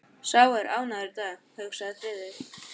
Sá er ánægður í dag, hugsaði Friðrik.